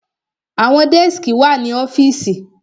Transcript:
Àwọn dẹ́skì wà ní ọ́fìsì.